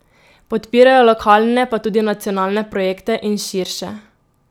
Podpirajo lokalne pa tudi nacionalne projekte in širše.